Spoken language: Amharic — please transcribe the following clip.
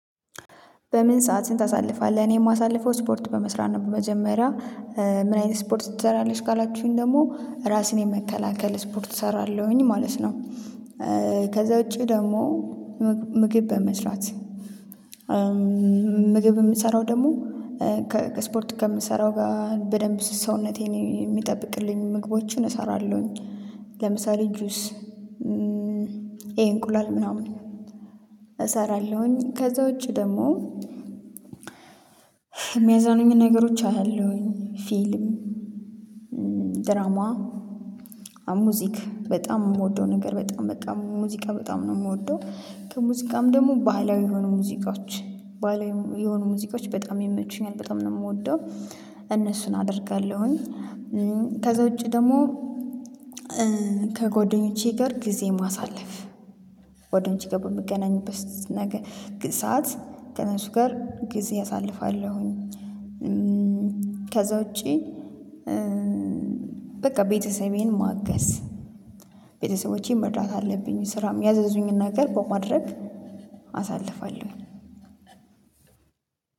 በምን ሰዓት ህን ታሳልፋለህ እኔ የማሳልፈው ስፖርት በመስራት ነው? በመጀመሪያ ምን አይነት ስፖርት ትሰሪያለሽ ካላችሁኝ ደግሞ ራስን የመከላከል ስፖርት እሰራለሁኝ ማለት ነው። ከዛ ውጪ ደግሞ ምግብ በመስራት ምግብ የምሰራው ደግሞ ከስፖርት ከምሰራው ጋር በደንብ ስስ ሰውነቴን የሚጠብቅልኝ ምግቦችን እሰራለሁኝ። ለምሳሌ ጁስ ይሄ እንቁላል ምናምን እሰራለሁኝ ከዛ ውጪ ደግሞ የሚያዝናኑኝ ነገሮች አያለሁኝ ፊልም ድራማ ሙዚክ በጣም የምወደው ነገር በጣም በጣም ሙዚቃ በጣም ነው የምወደው። ከሙዚቃም ደግሞ ባህላዊ የሆኑ ሙዚቃዎች ባህላዊ የሆኑ ሙዚቃዎች በጣም ይመቹኛል በጣም ነው የምወደው። እነሱን አደርጋለሁኝ ከዛ ውጪ ደግሞ ከጎደኞቼ ጋር ጊዜ ማሳለፍ ጎደኞቼ ጋር በምገናኝበት ነገ ሰዓት ከእነሱ ጋር ጊዜ አሳልፋለሁኝ። ከዛ ውጪ በቃ ቤተሰቤን ማገዝ ቤተሰቦቼን መርዳት አለብኝ ስራም ያዘዙኝን ነገር በማድረግ አሳልፋለሁ።